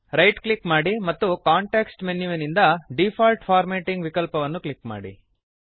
right click ಮಾಡಿ ಮತ್ತು context ಮೆನುವಿನಿಂದ ಡಿಫಾಲ್ಟ್ ಫಾರ್ಮ್ಯಾಟಿಂಗ್ ವಿಕಲ್ಪವನ್ನು ಕ್ಲಿಕ್ ಮಾಡಿ